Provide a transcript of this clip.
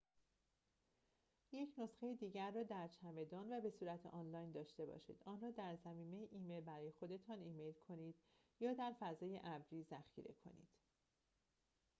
یک نسخه دیگر را در چمدان و بصورت آنلاین داشته باشید آن را در ضمیمه ایمیل برای خودتان ایمیل کنید، یا در فضای «ابری» ذخیره کنید